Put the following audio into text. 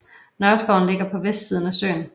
Nørreskoven ligger på vestsiden af søen